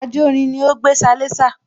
Ajórin ni ó gbé salésà